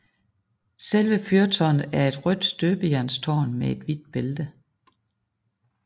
Selve fyrtårnet er et rødt støbejernstårn med et hvidt bælte